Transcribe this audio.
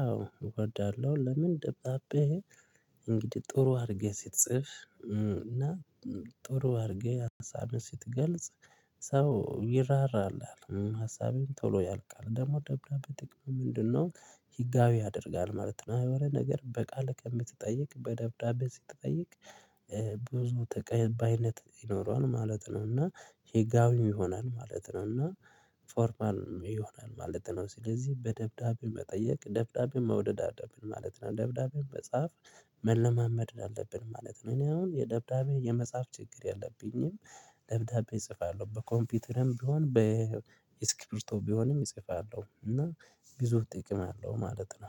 አዎ እወዳለሁ። ለምን ደብዳቤ እንግዲህ ጥሩ አድርገህ ስትጽፍ እና ጥሩ አድርገህ ሀሳብህን ስትገልጽ ሰው ይራራል አለ ሀሳቤን ቶሎ ያልቃል ደግሞ ደብዳቤ ጥቅም ምንድነው? ህጋዊ ያደርጋል ማለት ነው የሆነ ነገር በቃል ከምትጠይቅ በደብዳቤ ስትጠይቅ ብዙ ተቀባይነት ይኖረዋል ማለት ነው። እና ህጋውን ይሆናል ማለት ነው እና ፎርማን ይሆናል ማለት ነው። ስለዚህ በደብዳቤ መጠየቅ ደብዳቤ መውደድ አለብን ማለት ነው። ደብዳቤው መጻፍ መለማመድ አለብን ማለት ነው። እኔ አሁን የደብዳቤ የመጻፍ ችግር የለብኝም። ደብዳቤ እጽፋለሁ በኮምፒውተርም ቢሆን በእስክብርቶ ቢሆንም እጽፋለሁ እና ብዙ ጥቅም አለው ማለት ነው